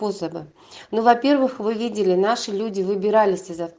посада ну во-первых вы видели наши люди выбирались из авто